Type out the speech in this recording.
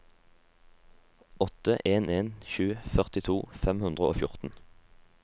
åtte en en sju førtito fem hundre og fjorten